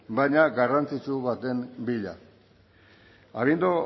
baina garrantzitsu baten bila habiendo